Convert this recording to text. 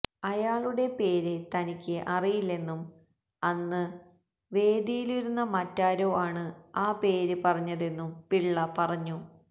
അയാളുടെ പേര് തനിക്ക് അറിയില്ലെന്നും അന്ന് വേദിയിലിരുന്ന മറ്റാരോ ആണ് ആ പേര് പറഞ്ഞതെന്നും പിള്ള പറഞ്ഞു